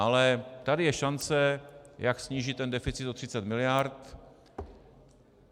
Ale tady je šance, jak snížit ten deficit o 30 miliard.